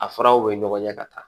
A furaw bɛ ɲɔgɔn ɲɛ ka taa